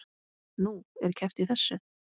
Nú, er keppt í þessu?